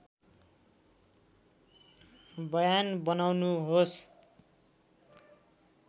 बयान बनाउनुहोस्